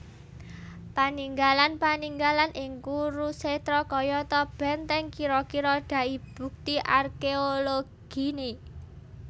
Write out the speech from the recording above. Paninggalan paninggalan ing Kurusetra kayata bèntèng kira kira dai bukti arkeologine